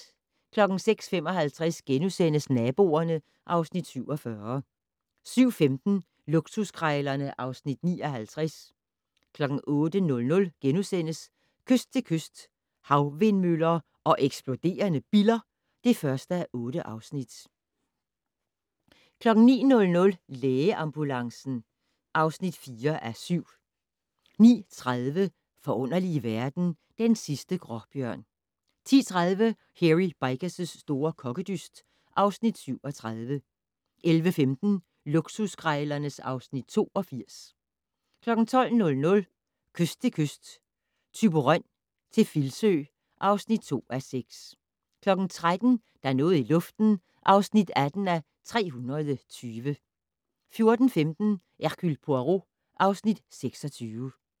06:55: Naboerne (Afs. 47)* 07:15: Luksuskrejlerne (Afs. 59) 08:00: Kyst til kyst - Havvindmøller og eksploderende biller (1:8)* 09:00: Lægeambulancen (4:7) 09:30: Forunderlige verden - Den sidste gråbjørn 10:30: Hairy Bikers' store kokkedyst (Afs. 37) 11:15: Luksuskrejlerne (Afs. 82) 12:00: Kyst til kyst - Thyborøn til Filsø (2:6) 13:00: Der er noget i luften (18:320) 14:15: Hercule Poirot (Afs. 26)